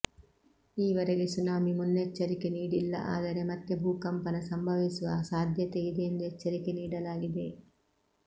ಈವರೆಗೆ ಸುನಾಮಿ ಮುನ್ನೆಚ್ಚರಿಕೆ ನೀಡಿಲ್ಲ ಆದರೆ ಮತ್ತೆ ಭೂಕಂಪನ ಸಂಭವಿಸುವ ಸಾಧ್ಯತೆ ಇದೆ ಎಂದು ಎಚ್ಚರಿಕೆ ನೀಡಲಾಗಿದೆ